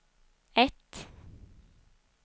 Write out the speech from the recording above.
ett